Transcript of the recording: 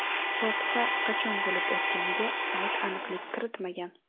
Fotiha qachon bo‘lib o‘tganiga sayt aniqlik kiritmagan.